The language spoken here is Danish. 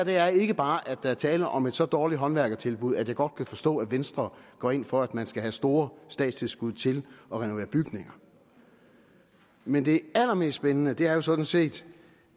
er ikke bare at der er tale om et så dårligt håndværkertilbud at jeg godt kan forstå at venstre går ind for at man skal have store statstilskud til at renovere bygninger men det allermest spændende er jo sådan set